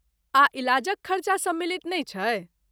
आ, इलाजक खरचा सम्मिलित नहि छै?